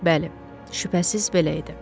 Bəli, şübhəsiz belə idi.